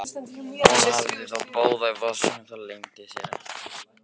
Hún hafði þá báða í vasanum, það leyndi sér ekki.